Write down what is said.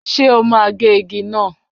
Ṣé o máa gé igi náà?